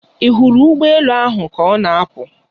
Ị hụrụ ụgbọ elu ahụ ka ọ na-apụ?